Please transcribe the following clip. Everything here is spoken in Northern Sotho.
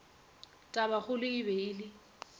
tabakgolo e be e le